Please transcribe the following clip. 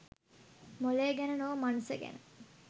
මොළය ගැන නොව මනස ගැන